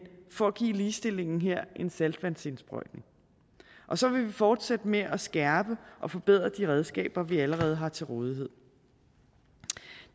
for at give ligestillingen her en saltvandsindsprøjtning så vil vi fortsætte med at skærpe og forbedre de redskaber vi allerede har til rådighed